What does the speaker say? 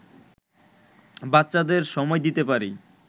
বাচ্চাদের সময় দিতে পারি